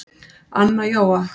ANNA JÓA